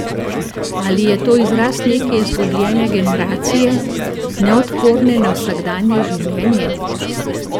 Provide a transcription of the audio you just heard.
Ali je to izraz neke izgubljene generacije, neodporne na vsakdanje življenje?